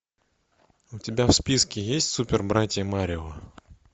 у тебя в списке есть супер братья марио